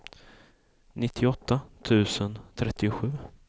nittioåtta tusen trettiosju